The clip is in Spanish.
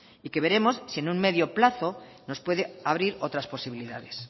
y que veremos si en un medio plazo nos puede abrir otras posibilidades